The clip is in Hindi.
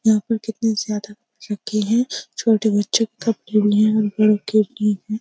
यहाँ पर कितने ज्यादा रखे है। छोटे बच्चो के कपड़े --